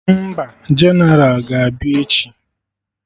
Mba? Jeneral ga-abịa echi